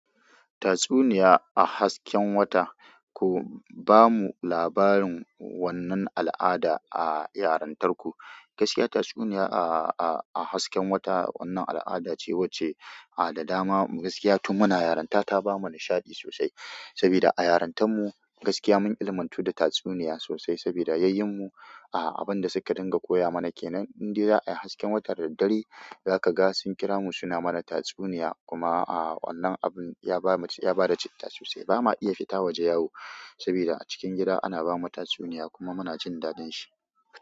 Tatsuniya a hasken wata, ku ba mu labarin wannan al'ada a yarintarku. Gaskiya tatsuniya a hasken wata wannan al'ada ce wacce a da dama gaskiya tun muna yarinta ta ba mu nishaɗi sosai. Saboda a yarintan mu gaskiya mun ilimantu da tatsuniya sosai saboda yayyen mu a abinda suka dinga koya mana kenan. Dan indai za ayi hasken wata daddare zaka ga sun kira mu suna mana tatsuniya kuma a wannan abun ya ba mu, ya bada citta sosai. Ba ma iya fita waje yau saboda a cikin gida ana bamu tatsuniya kuma muna jin daɗin shi.